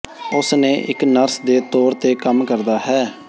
ਉਸ ਨੇ ਇੱਕ ਨਰਸ ਦੇ ਤੌਰ ਤੇ ਕੰਮ ਕਰਦਾ ਹੈ